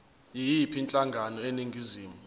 yiyiphi inhlangano eningizimu